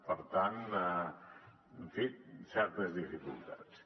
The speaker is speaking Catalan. per tant en fi certes dificultats